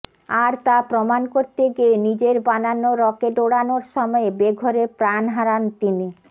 আর তা প্রমাণ করতে গিয়ে নিজের বানানো রকেট ওড়ানোর সময়ে বেঘোরে প্রাণ হারান তিনি